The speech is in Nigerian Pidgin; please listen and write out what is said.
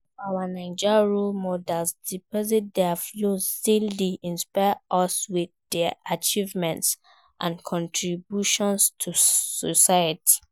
Some of our Naija role models despite dia flaws, still dey inspire us with dia achievements and contributions to society.